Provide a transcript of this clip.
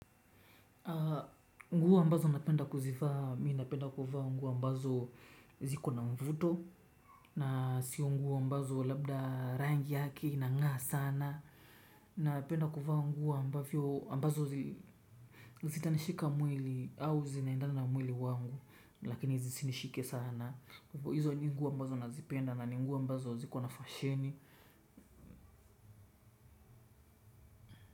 Nguo mbazo napenda kuzivaa, mi napenda kuvaa nguo ambazo ziko na mvuto na sio nguo ambazo labda rangi yake inangaa sana. Napenda kuvaa nguo ambazo ambazo zitanishika mwili au zinaendana na mwili wangu lakini zisinishike sana. Hizo nguo ambazo nazipenda na nguo ambazo ziko na fasheni.